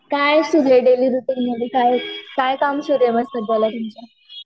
काय सुरुये डेली रुटीनमध्ये काय काम सुरुये?